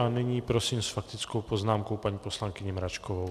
A nyní prosím s faktickou poznámkou paní poslankyni Mračkovou.